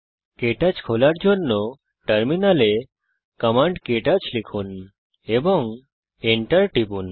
কে touch খোলার জন্য টার্মিনালে কমান্ড ক্টাচ লিখুন এবং এন্টার টিপুন